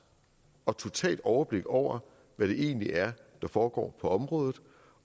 og totalt overblik over hvad det egentlig er der foregår på området